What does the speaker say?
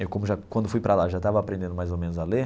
Eu como já, quando fui para lá, já estava aprendendo mais ou menos a ler.